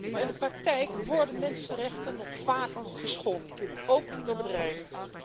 Maar in de praktijk worden mensenrechten nog vaak geschonden, ook door bedrijven.